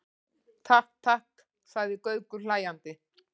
Takk, takk sagði Gaukur hlæjandi.